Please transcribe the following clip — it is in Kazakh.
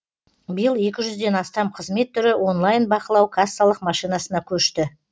биыл екі жүзден астам қызмет түрі онлайн бақылау кассалық машинасына көшті